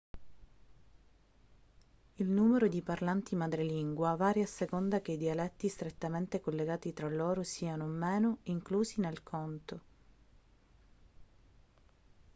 il numero di parlanti madrelingua varia a seconda che i dialetti strettamente collegati tra loro siano o meno inclusi nel conto